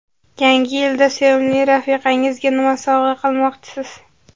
Yangi yilda sevimli rafiqangizga nima sovg‘a qilmoqchisiz?.